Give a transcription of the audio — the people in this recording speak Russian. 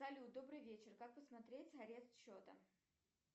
салют добрый вечер как посмотреть арест счета